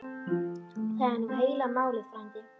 Það er nú heila málið frændi.